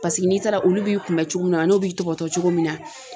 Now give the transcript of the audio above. Paseke n'i taara olu b'i kunbɛ cogo min na an n'o b'i tɔbɔtɔ cogo min na.